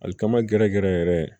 Alikama gɛrɛ gɛrɛ yɛrɛ